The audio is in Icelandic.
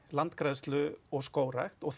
landgræðslu og skógrækt og